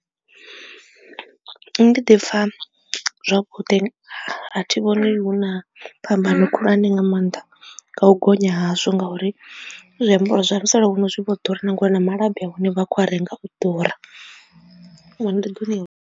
Nṋe ndi ḓi pfha zwavhuḓi a thi vhoni hu na phambano khulwane nga maanḓa nga u gonya hazwo ngauri zwiambaro zwa musalauno zwi vho ḓura na ngori na malabi ahone vha khou a renga u ḓura.